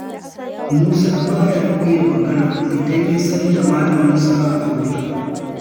Musa ba ya iya magana idan ya san da malamisa a wurin.